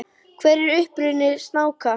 Hver er uppruni snáka?